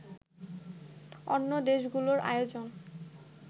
অন্য দেশগুলোর আয়োজন